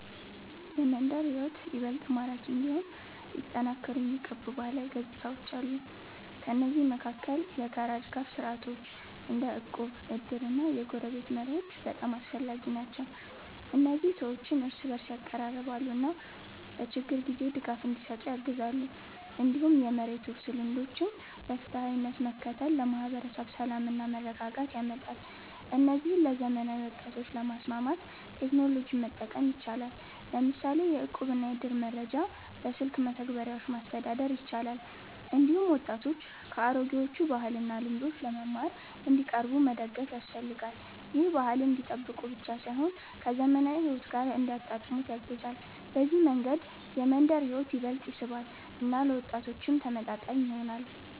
የመንደር ሕይወት ይበልጥ ማራኪ እንዲሆን ሊጠናከሩ የሚገቡ ባህላዊ ገጽታዎች አሉ። ከእነዚህ መካከል የጋራ ድጋፍ ስርዓቶች እንደ እቁብ፣ እድር እና የጎረቤትነት መርሆች በጣም አስፈላጊ ናቸው። እነዚህ ሰዎችን እርስ በእርስ ያቀራርባሉ እና በችግር ጊዜ ድጋፍ እንዲሰጡ ያግዛሉ። እንዲሁም የመሬት ውርስ ልምዶችን በፍትሃዊነት መከተል ለማህበረሰብ ሰላምና መረጋጋት ያመጣል። እነዚህን ለዘመናዊ ወጣቶች ለማስማማት ቴክኖሎጂን መጠቀም ይቻላል፤ ለምሳሌ የእቁብና የእድር መረጃ በስልክ መተግበሪያዎች ማስተዳደር ይቻላል። እንዲሁም ወጣቶች ከአሮጌዎቹ ባህልና ልምዶች ለመማር እንዲቀርቡ መደገፍ ያስፈልጋል። ይህ ባህልን እንዲጠብቁ ብቻ ሳይሆን ከዘመናዊ ሕይወት ጋር እንዲያጣጣሙት ያግዛል። በዚህ መንገድ የመንደር ሕይወት ይበልጥ ይስባል እና ለወጣቶችም ተመጣጣኝ ይሆናል።